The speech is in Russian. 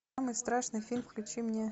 самый страшный фильм включи мне